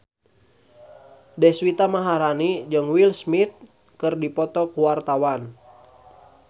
Deswita Maharani jeung Will Smith keur dipoto ku wartawan